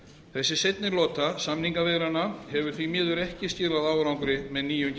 þessi seinni lota samningaviðræðna hefur því miður ekki skilað árangri með nýjum